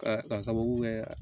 Ka k'a sababu kɛ